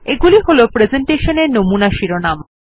এগুলি হল প্রেসেন্টেশনের নমুনা শিরোনাম